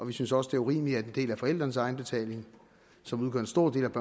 vi synes også det er urimeligt at en del af forældrenes egenbetaling som udgør en stor del af